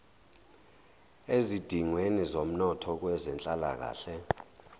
ezidingweni zomnotho kwezenhlalakahle